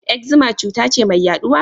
Eczema cuta ce mai yaduwa?